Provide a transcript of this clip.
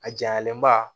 A jalenba